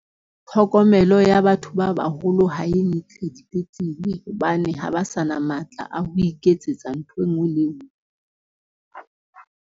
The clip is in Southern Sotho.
Tlhokomelo ya batho ba baholo ha e ntle dipetlele. Hobane ha ba sa na matla a ho iketsetsa ntho enngwe le enngwe.